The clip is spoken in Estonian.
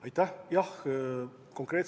Aitäh!